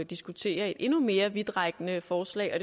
diskutere et endnu mere vidtrækkende forslag og